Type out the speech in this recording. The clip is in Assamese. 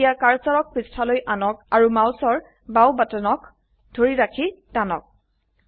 এতিয়া কাৰ্সৰক পৃষ্ঠালৈ আনক আৰু মাউসৰ বাও বাটনক ধৰি ৰাখি টানক